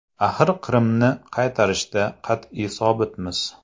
Axir Qrimni qaytarishda qat’iy sobitmiz”.